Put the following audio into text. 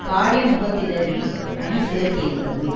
காலிமுகத் திடலில் அணி திரட்டியிருந்தது